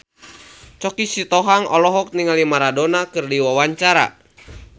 Choky Sitohang olohok ningali Maradona keur diwawancara